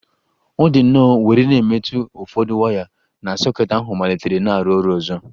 Ọ dị nnọọ were na-emetụ ụfọdụ waya na soket ahu malitere na-arụ ọrụ ọzọ